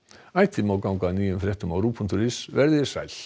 ætíð má ganga að nýjum fréttum á rúv punktur is veriði sæl